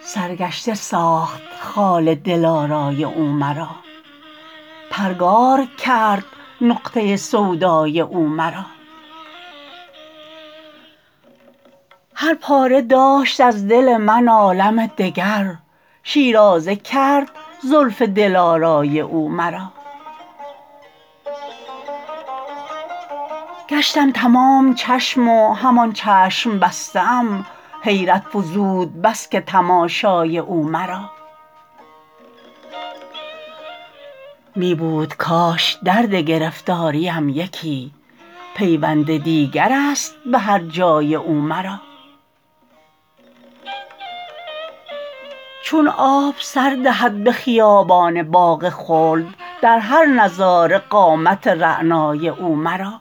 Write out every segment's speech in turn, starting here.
سرگشته ساخت خال دلارای او مرا پرگار کرد نقطه سودای او مرا هر پاره داشت از دل من عالم دگر شیرازه کرد زلف دلارای او مرا گشتم تمام چشم و همان چشم بسته ام حیرت فزود بس که تماشای او مرا می بود کاش درد گرفتاریم یکی پیوند دیگرست به هر جای او مرا چون آب سر دهد به خیابان باغ خلد در هر نظاره قامت رعنای او مرا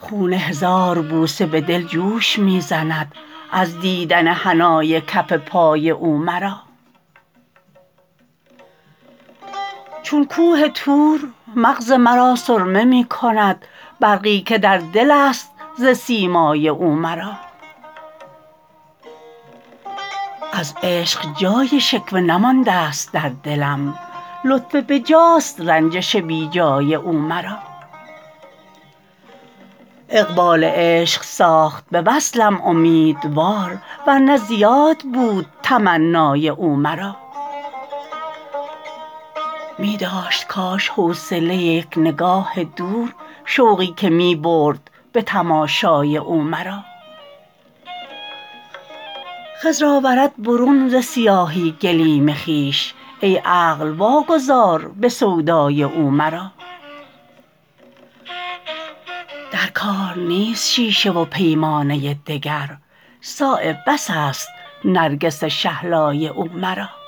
خون هزار بوسه به دل جوش می زند از دیدن حنای کف پای او مرا چون کوه طور مغز مرا سرمه می کند برقی که در دل است ز سیمای او مرا از عشق جای شکوه نمانده است در دلم لطف بجاست رنجش بیجای او مرا اقبال عشق ساخت به وصلم امیدوار ورنه زیاد بود تمنای او مرا می داشت کاش حوصله یک نگاه دور شوقی که می برد به تماشای او مرا خضر آورد برون ز سیاهی گلیم خویش ای عقل واگذار به سودای او مرا در کار نیست شیشه و پیمانه دگر صایب بس است نرگس شهلای او مرا